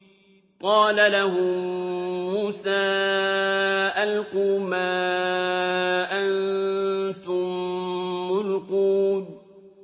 قَالَ لَهُم مُّوسَىٰ أَلْقُوا مَا أَنتُم مُّلْقُونَ